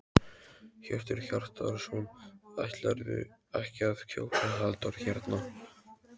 Hjörtur Hjartarson: Ætlarðu ekki að kjósa Halldór hérna?